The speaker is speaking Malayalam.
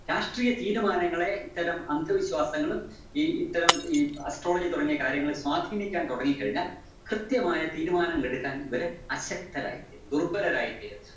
രാഷ്ട്രീയ തീരുമാനങ്ങളെ ഇത്തരം അന്ധവിശ്വാസങ്ങളും ഈ ഇത്തരം ഈ astrology തുടങ്ങിയ കാര്യങ്ങള് സ്വാധീനിക്കാന്‍ തൊടങ്ങിക്കഴിഞ്ഞാല്‍ കൃത്യമായ തീരുമാനങ്ങളെടുക്കാന്‍ വരെ അശക്തരായി തീരും. ദുര്‍ബലരായി തീരും.